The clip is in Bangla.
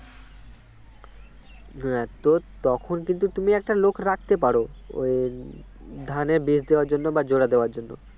হ্যাঁ তো তখন কিন্তু তুমি একটা লোক রাখতে পারো ওই ধানের বীজ দেওয়ার জন্য বা জোড়া দেওয়ার জন্য``